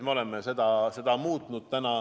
Me oleme seda muutnud.